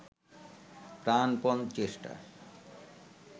প্রাণপণ চেষ্টা